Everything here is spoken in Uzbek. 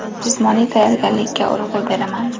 Jismoniy tayyorgarlikka urg‘u beraman.